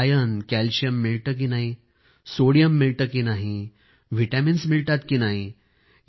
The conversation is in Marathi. आपल्याला आयर्न कॅलशियम मिळते की नाही सोडियम मिळते की नाही व्हिटॅमिन्स मिळतात की नाही